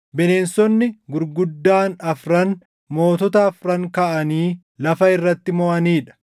‘Bineensonni gurguddaan afran mootota afran kaʼanii lafa irratti moʼanii dha.